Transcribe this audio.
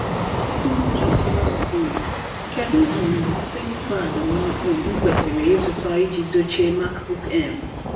Nyocha Sonos Beam: Kedu um ThinkPad m um kwesịrị ịzụta iji dochie MacBook Air m?